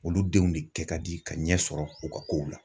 Olu denw de kɛ ka di ka ɲɛ sɔrɔ u ka kow la.